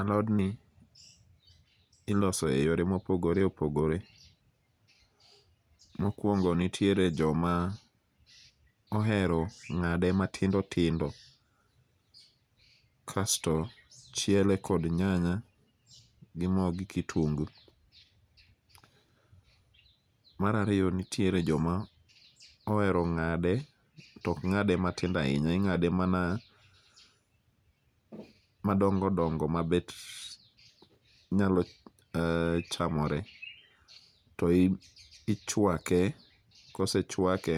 Alodni iloso eyore mopogore opogore. Mokuongo nitiere joma ohero ng'ade matindo tindo kasto chiele kod nyanya gi mo gi kitunguu. Mar ariyo nitiere joma ohero ng'ade to ok ng'ade matindo ahinya, ing'ade mana madongo dongo mabet nyalo chamore. To ichuake, kosechuake